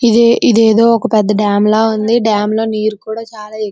ఇది ఇదేదో ఒక పెద్ద డాం లా ఉంది డాం లో నీరు కూడా చాలా ఎక్కు--